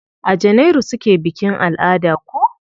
A janairu suke bikin alada ko?